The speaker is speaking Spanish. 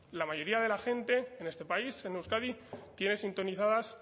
la mayoría de la gente en este país en euskadi tiene sintonizadas